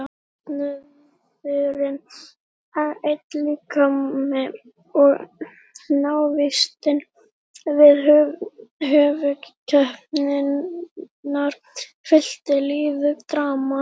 Söfnuðurinn einn líkami og návistin við höfuðskepnurnar fyllti lífið drama.